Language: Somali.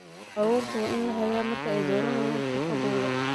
Carruurta waa in la hagaa marka ay dooranayaan xirfadahooda.